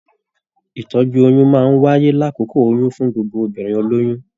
Ìtọ́jú oyún máa n wáyé l'akókó oyún fún gbogbo obìnrin olóyún.